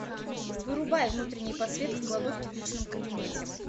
вырубай внутренняя подсветка кладовки в личном кабинете